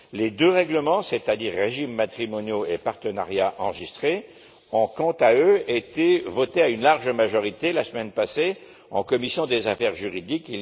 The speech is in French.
Les deux règlements, c'est à dire régimes matrimoniaux et partenariat enregistré, ont, quant à eux, été votés à une large majorité la semaine passée en commission des affaires juridiques.